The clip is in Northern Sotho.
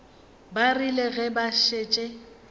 ba rile ge ba šetše